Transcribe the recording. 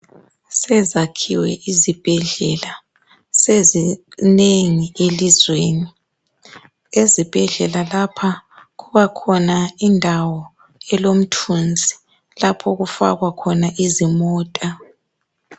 Sezakhiwe izibhedlela sezinengi elizweni ezibhedlela lapha kubakhona indawo elomthunzi lapho okufakwa khona izimota.